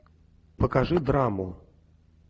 покажи драму